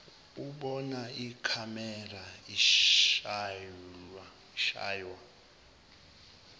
ubona ikhamera ushaywa